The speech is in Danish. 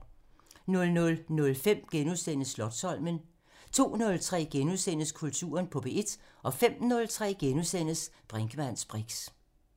00:05: Slotsholmen (Afs. 40)* 02:03: Kulturen på P1 * 05:03: Brinkmanns briks *